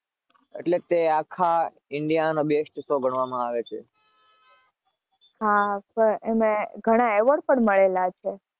આખા ઇન્ડિયામાં best show ગણવામાં આવે છે.